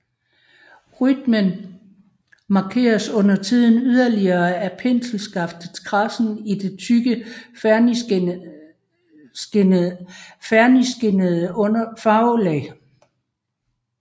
Rytmen markeres undertiden yderligere af penselskaftets kradsen i det tykke fernisskinnende farvelag